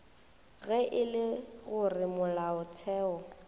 ge e le gore molaotheo